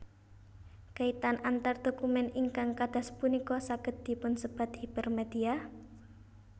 Kaitan antar dokumen ingkang kadas punika saged dipunsebat hipermedia